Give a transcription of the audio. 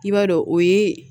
I b'a dɔn o ye